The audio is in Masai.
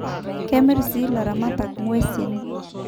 Kemir sii ilaramatak nguesin